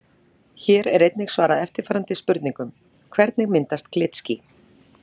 Hér er einnig svarað eftirfarandi spurningum: Hvernig myndast glitský?